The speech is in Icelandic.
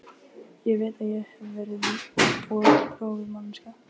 Þannig var akfært milli reitanna sem skurðirnir afmörkuðu.